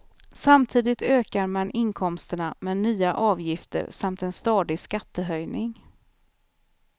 Samtidigt ökar man inkomsterna med nya avgifter samt en stadig skattehöjning.